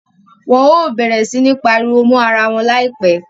Wọn o bẹrẹ si pariwo mọ àrà wọn laipẹ